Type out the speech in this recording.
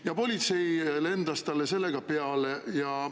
Ja politsei lendas talle selle tõttu peale.